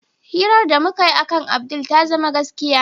Hirar da mukayi akan Abdul ta zama gaskiya.